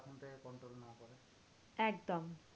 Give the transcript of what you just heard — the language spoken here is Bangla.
একদম